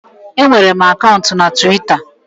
Enwere m akaụntụ na Twita